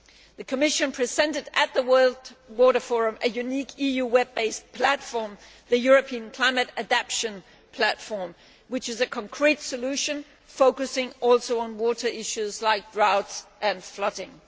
The Commission presented at the World Water Forum a unique EU web based platform the European Climate Adaptation Platform, which is a concrete solution, focusing also on water issues like drought and flooding.